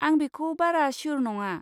आं बेखौ बारा स्यु'र नङा।